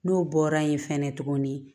N'o bɔra yen fɛnɛ tuguni